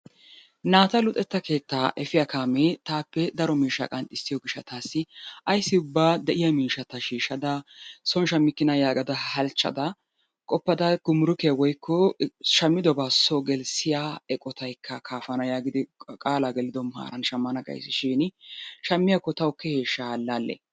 Naata luxetta keettaa efiyaa kaamee taappe daro miishshaa qanxxissiyo gishshataasi ayssi ubba de"iya miishshata shiishada soon shammikkinaa yaagada halchchada qoppada gumurukiya woyikko shammidobaa soo gelissiyaa eqotaykka kaafana yaagidi qaalaa gelido maaran shammana gaysishin shammiyakko tawu keeheshsha ha allaalle?